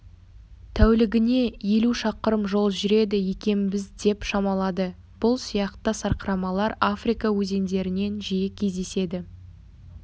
тәулігіне елу шақырым жол жүреді екенбіз деп шамалады бұл сияқты сарқырамалар африка өзендерінен жиі кездеседі